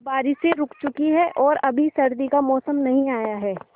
अब बारिशें रुक चुकी हैं और अभी सर्दी का मौसम नहीं आया है